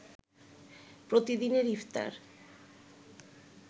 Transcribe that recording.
প্রতিদিনের ইফতার